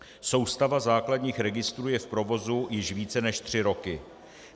Soustava základních registrů je v provozu již více než tři roky.